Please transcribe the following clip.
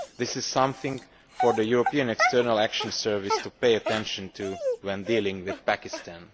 This is something for the European External Action Service to pay attention to when dealing with Pakistan.